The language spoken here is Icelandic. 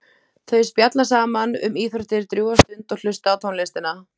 Þau spjalla saman um íþróttir drjúga stund og hlusta á tónlistina.